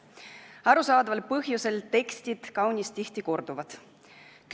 Arusaadaval põhjusel on tekstid kaunis tihti korduvad.